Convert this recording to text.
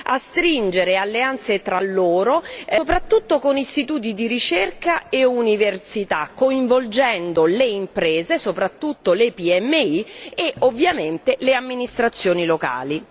a stringere alleanze tra loro, soprattutto con istituti di ricerca e università, coinvolgendo le imprese, soprattutto le PMI, e ovviamente le amministrazioni locali.